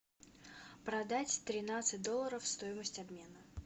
продать тринадцать долларов стоимость обмена